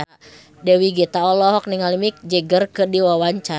Dewi Gita olohok ningali Mick Jagger keur diwawancara